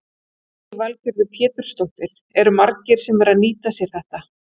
Lillý Valgerður Pétursdóttir: Eru margir sem eru að nýta sér þetta?